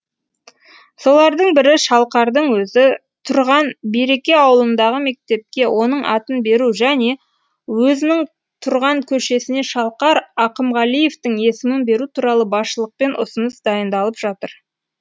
солардың бірі шалқардың өзі тұрған береке ауылындағы мектепке оның атын беру және өзінің тұрған көшесіне шалқар ақымғалиевтің есімін беру туралы басшылықпен ұсыныс дайындалып жатыр